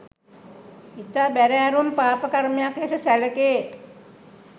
ඉතා බැරෑරුම් පාපකර්මයක් ලෙස සැලකේ.